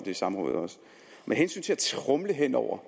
i samrådet med hensyn til at tromle hen over